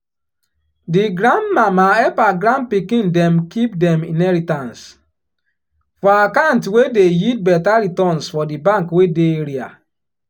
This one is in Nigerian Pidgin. di grandmama hep her grandpikin dem kip dem inheritance for account wey dey yield beta returns for di bank wey dey area.